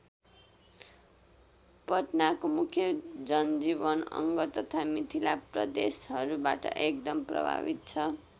पटनाको मुख्य जनजीवन अङ्ग तथा मिथिला प्रदेशहरूबाट एकदम प्रभावित छ।